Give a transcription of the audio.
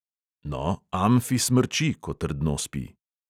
No, amfi smrči, ko trdno spi.